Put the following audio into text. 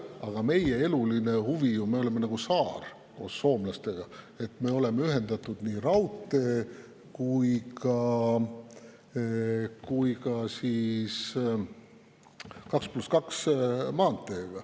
Aga meie eluline huvi – me oleme nagu saar koos soomlastega – on see, et me oleks ühendatud nii raudteega kui ka 2 + 2 maanteega.